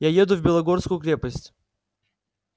я еду в белогорскую крепость